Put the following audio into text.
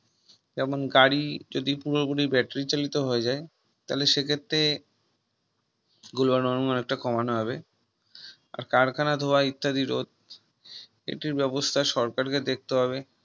কেমন গাড়ি যদি পুরোপুরি Battery চালিত হয়ে যায় তাহলে তাহলে সে ক্ষেত্রে Global warming অনেকটা কমানো হবে আর কারখানার ইত্যাদির রোধ এটির ব্যবস্থা সরকারকে দেখতে হবে